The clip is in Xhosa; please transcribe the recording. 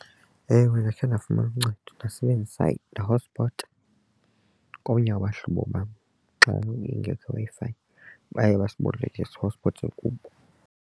Ewe, ndakhe ndafumana uncedo ndasebenzisa ndahotspota komnye wabahlobo bam xa ingekho iWi-Fi. Baye basiboleka sihotspothe kubo.